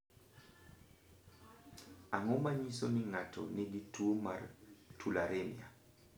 Ang’o ma nyiso ni ng’ato nigi tuwo mar tularemia?